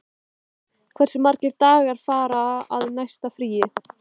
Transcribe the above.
Finnborg, hversu margir dagar fram að næsta fríi?